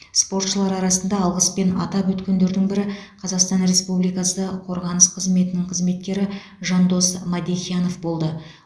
спортшылар арасында алғыспен атап өткендердің бірі қазақстан республикасы қорғаныс қызметінің қызметкері жандос мадехиянов болды